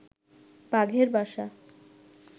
বাঘের বাসা